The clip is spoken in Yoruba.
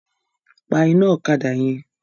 Pa iná ọ̀kadà yẹn!